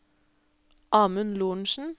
Amund Lorentsen